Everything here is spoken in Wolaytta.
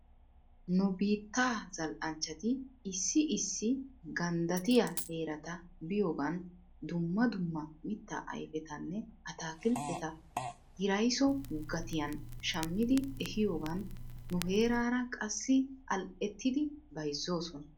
Nu biittaa zal"anchchati issi issi ganddattiyaa heerata biyoogan dumma dumma mittaa ayfetanne ataakilteta hiraysso gatiyan shammidi ehiyoogan nuheeraara qassi al"ettidi beyzzoosona.